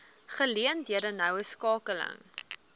geleenthede noue skakeling